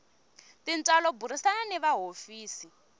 tintswalo burisana ni va hofisi